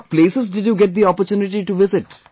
What places did you get the opportunity to visit